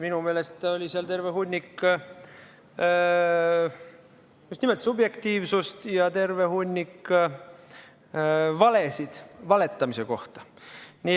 Minu meelest oli seal terve hunnik just nimelt subjektiivsust ja terve hunnik valesid valetamise kohta.